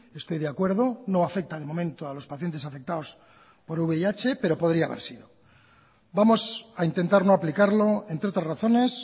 estoy de acuerdo no afecta de momento a los pacientes afectados por vih pero podría haber sido vamos a intentar no aplicarlo entre otras razones